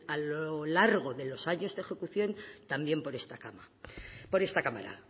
a lo largo de los años de ejecución también por esta cámara